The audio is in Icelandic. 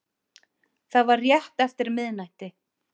Það var rétt eftir miðnætti